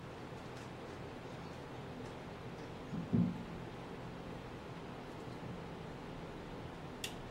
сезон четыре сериал записки юного врача и другие истории